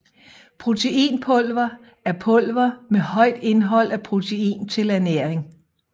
Proteinpulver er pulver med højt indhold af protein til ernæring